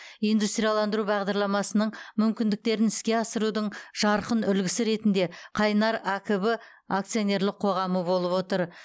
индустрияландыру бағдарламасының мүмкіндіктерін іске асырудың жарқын үлгісі ретінде қайнар акб акционерлік қоғамы болып отыр